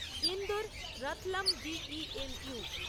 Indore Ratlam D E M you